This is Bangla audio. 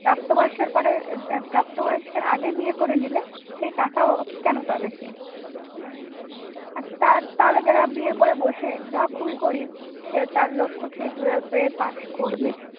প্রাপ্ত বয়সের পরে প্রাপ্তবয়স্কের আগে বিয়ে করে নিলে সেই টাকাও কেন পাবে সে? তাহলে যারা বিয়ে করে বসে যাওয়া খুবই গরিব সে তার লক্ষ যে twelve এ পাস করবে